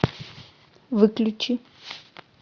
выключи